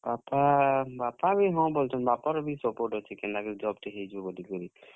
ବାପା, ବାପା ବି ହଁ, ବଲୁଛନ୍। ବାପାର ବି support ଅଛେ, କେନ୍ତା କରି job ଟେ ହେଇଯାଉ ବଲିକରି।